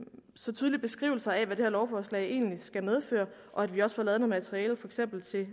så tydelige beskrivelser af hvad det her lovforslag egentlig skal medføre og at vi også får lavet noget materiale for eksempel til